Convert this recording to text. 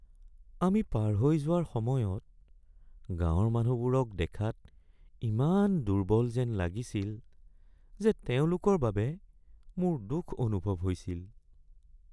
আমি পাৰ হৈ যোৱাৰ সময়ত গাঁৱৰ মানুহবোৰক দেখাত ইমান দুৰ্বল যেন লাগিছিল যে তেওঁলোকৰ বাবে মোৰ দুখ অনুভৱ হৈছিল।